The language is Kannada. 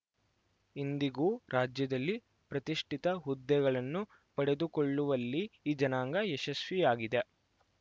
ಇಂದಿಗೂ ರಾಜ್ಯದಲ್ಲಿ ಪ್ರತಿಷ್ಠಿತ ಹುದ್ದೆಗಳನ್ನು ಪಡೆದುಕೊಳ್ಳುವಲ್ಲಿ ಈ ಜನಾಂಗ ಯಶಸ್ವಿಯಾಗಿದೆ